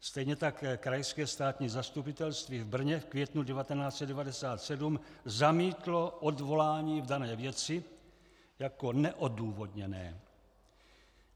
Stejně tak Krajské státní zastupitelství v Brně v květnu 1997 zamítlo odvolání v dané věci jako neodůvodněné.